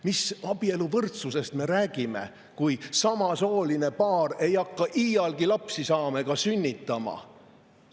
Mis abieluvõrdsusest me räägime, kui samasooline paar ei hakka iialgi lapsi saama ega sünnitama?